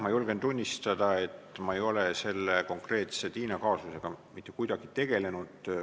Ma julgen tunnistada, et ma ei ole selle konkreetse Tiina kaasusega mitte kuidagi tegelenud.